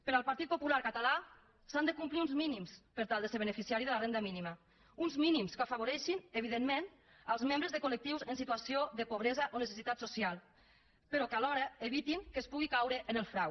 per al partit popular català s’han de complir uns mínims per tal de ser beneficiari de la renda mínima uns mínims que afavoreixin evidentment els membres de collectius en situació de pobresa o necessitat social però que alhora evitin que es pugui caure en el frau